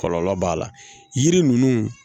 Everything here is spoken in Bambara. Kɔlɔlɔ b'a la yiri ninnu